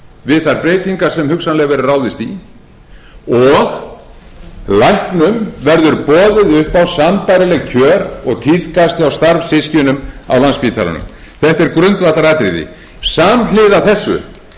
við þær breytingar sem hugsanlega verður ráðist í og læknum verður boðið upp á sambærileg kjör og tíðkast hjá starfssystkinum á landspítalanum þetta er grundvallaratriði samhliða þessu hef